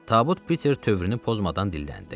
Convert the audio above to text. Tabut Piter tövrünü pozmadan dilləndi.